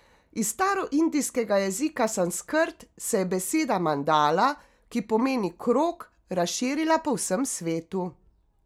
Iz staroindijskega jezika sanskrt se je beseda mandala, ki pomeni krog, razširila po vsem svetu.